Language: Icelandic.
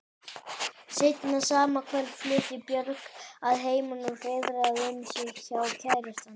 Seinna sama kvöld flutti Björg að heiman og hreiðraði um sig hjá kærastanum.